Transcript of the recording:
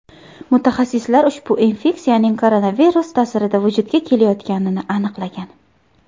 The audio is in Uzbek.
Mutaxassislar ushbu infeksiyaning koronavirus ta’sirida vujudga kelayotganini aniqlagan.